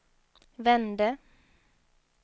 vände